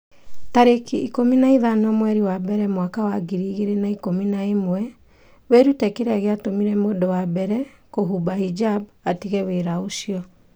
tarĩki ikũmi na ithano mweri wa mbere mwaka wa ngiri igĩrĩ na ikũmi na ĩmweWĩrute kĩrĩa gĩatũmire mũndũ wa mbere kũhumba hijab 'atige wĩra ũcio.